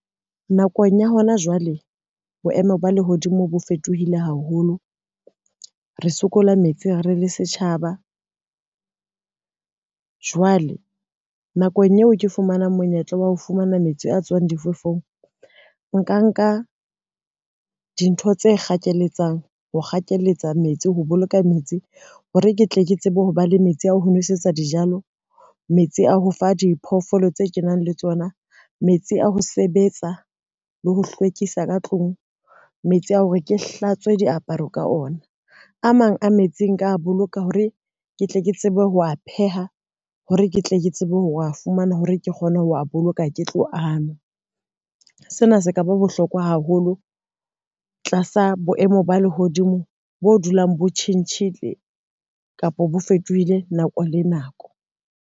Nakong ya hona jwale, boemo ba lehodimo bo fetohile haholo, re sokola metsi re le setjhaba. Jwale nakong eo ke fumanang monyetla wa ho fumana metsi a tswang difefong nka, nka dintho tse kgakeletsa, ho kgakeletsa metsi ho boloka metsi hore ke tle ke tsebe ho ba le metsi ano ho nwesetsa dijalo, metsi a ho fa diphoofolo tse kenang le tsona, metsi a ho sebetsa le ho hlwekisa ka tlung, metsi a hore ke hlatswe diaparo ka ona a mang a metsi nka boloka hore ke tle ke tsebe ho a pheha hore ke tle ke tsebe ho fumana hore ke kgone ho wa boloka ke tlo anwa. Sena se ka ba bohlokwa haholo tlasa boemo ba lehodimo bo dulong bo tjhentjhile kapa bo fetohile nako le nako.